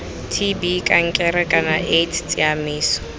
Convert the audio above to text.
tb kankere kana aids tsamaiso